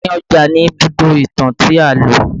Àárín ọjà ni Ibùdó ìtàn tí a lò